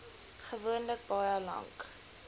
gewoonlik baie lank